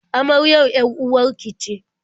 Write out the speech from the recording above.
Amaryar 'yar-uwar ki ce?